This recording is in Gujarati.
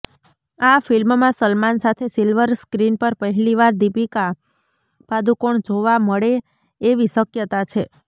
આ ફિલ્મમાં સલમાન સાથે સિલ્વર સ્ક્રીન પર પહેલીવાર દીપિકા પાદુકોણ જોવા મળે એવી શક્યતા છે